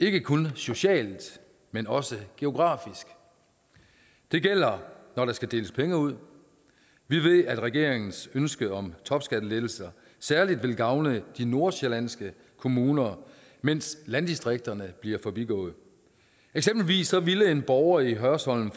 ikke kun socialt men også geografisk det gælder når der skal deles penge ud vi ved at regeringens ønske om topskattelettelser særlig vil gavne de nordsjællandske kommuner mens landdistrikterne bliver forbigået eksempelvis ville en borger i hørsholm